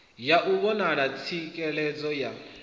ya u vhona tswikelelo ya